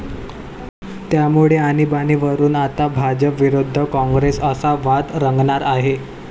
त्यामुळे आणिबाणीवरुन आता भाजप विरुद्ध काँग्रेस असा वाद रंगणार आहे.